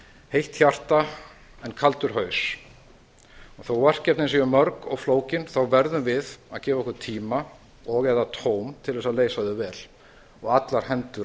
heitt hjarta en kaldur haus þótt verkefnin séu mörg og flókin verðum við að gefa okkur tíma og eða tóm til að leysa þau vel og allar hendur á